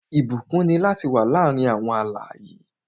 Ìbúkún ni lati le wà láàárín alààyè